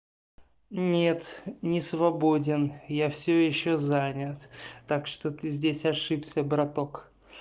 нет не свободен я всё ещё занят так что ты здесь ошибся браток